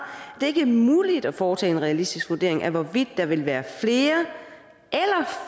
det ikke er muligt at foretage en realistisk vurdering af hvorvidt der vil være